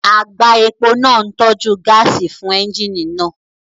Àgbá epo náà ń tọ́jú gáàsì fún ẹ́ńjíìnì náà